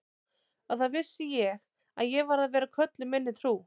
Og þá vissi ég að ég varð að vera köllun minni trú.